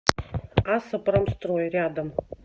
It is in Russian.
асо промстрой рядом